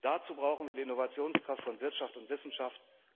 Dazu brauchen wir die Innovationskraft von Wirtschaft und Wissenschaft.